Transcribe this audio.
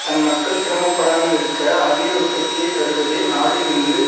தன் மக்கள் சிரமப்படாமல் இருக்க அதிக உற்பத்தியை தருவதே நாடு என்று